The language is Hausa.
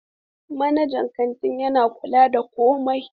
Manajan kantin yana kula da komai.